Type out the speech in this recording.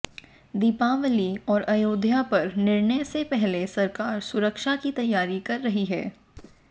दीपावली और अयोध्या पर निर्णय से पहले सरकार सुरक्षा की तैयारी कर रही है